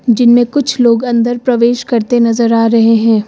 जिनमें कुछ लोग अंदर प्रवेश करते नजर आ रहे हैं।